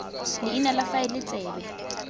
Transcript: le leina la faele tsebe